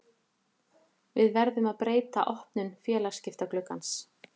Við verðum að breyta opnun félagsskiptagluggans.